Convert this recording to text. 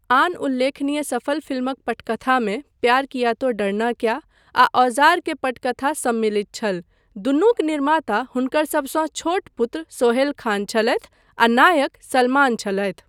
आन उल्लेखनीय सफल फिल्मक पटकथामे 'प्यार किया तो डरना क्या' आ 'औजार' के पटकथा सम्मिलित छल, दुनूक निर्माता हुनकर सभसँ छोट पुत्र सोहेल खान छलथि आ नायक सलमान छलथि।